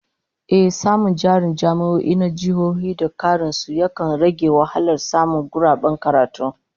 Ehh, samun jarin jami'o'i na jihohi da karin su, yakan rage wahalar samun guraben karatu